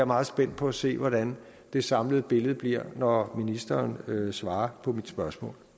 meget spændt på at se hvordan det samlede billede bliver når ministeren svarer på mit spørgsmål